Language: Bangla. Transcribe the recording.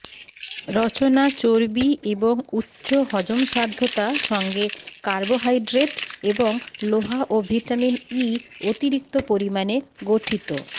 রচনা চর্বি এবং উচ্চ হজমসাধ্যতা সঙ্গে কার্বোহাইড্রেট এবং লোহা ও ভিটামিন ই অতিরিক্ত পরিমাণে গঠিত